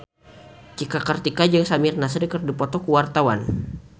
Cika Kartika jeung Samir Nasri keur dipoto ku wartawan